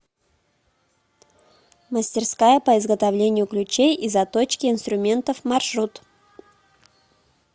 мастерская по изготовлению ключей и заточке инструментов маршрут